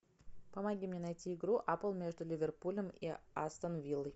помоги мне найти игру апл между ливерпулем и астон виллой